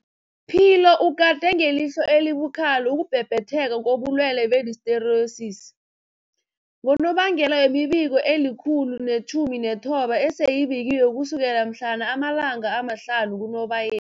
Philo ugade ngelihlo elibukhali ukubhebhetheka kobulwele be-Listeriosis, ngonobangela wemibiko eli-119 eseyibikiwe ukusukela mhlana ama-5 kuNobaye